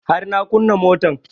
Har na kunna motan